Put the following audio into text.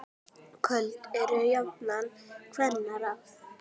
Köld eru jafnan kvenna ráð.